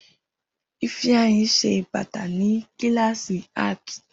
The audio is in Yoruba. Ifeanyi ṣe bata ni kilasi Art.